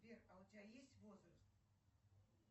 сбер а у тебя есть возраст